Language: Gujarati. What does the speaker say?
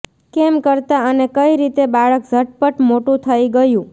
કેમ કરતા અને કઈ રીતે બાળક ઝટપટ મોટું થઇ ગયું